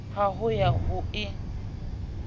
ya ho ya ho e